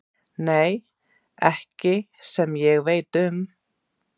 Nei, ekki sem ég veit um.